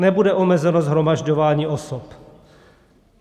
Nebude omezeno shromažďování osob.